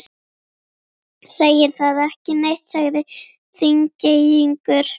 Segir það ekki neitt, sagði Þingeyingur.